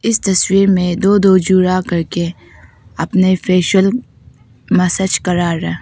इस तस्वीर में दो दो जुड़ा कर के अपने फेशियल मसाच करा रहा--